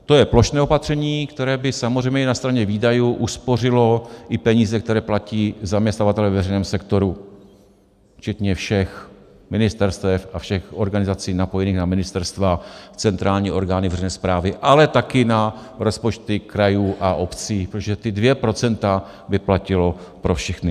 To je plošné opatření, které by samozřejmě i na straně výdajů uspořilo i peníze, které platí zaměstnavatelé ve veřejném sektoru včetně všech ministerstev a všech organizací napojených na ministerstva, centrální orgány veřejné správy, ale taky na rozpočty krajů a obcí, protože ta dvě procenta by platila pro všechny.